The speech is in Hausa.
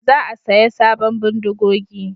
Za a saya sabon bindigogi